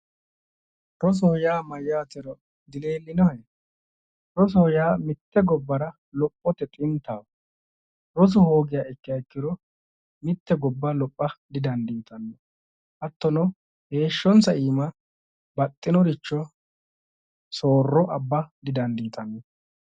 rosoho yaa mayyaatero dileellinohe roso yaa mitte gobbara lophote xintaho rosu hoogiro mitte gobba lopha didandiitanno hattono heeshshonsa iima bixxinoricho soorro abba didandiitanno.